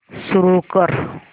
सुरू कर